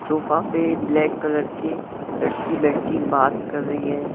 Sofa पे black colour के लड़की बैठी बात कर रही है।